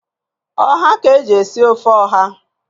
Ọha ka eji esi ofe ọha.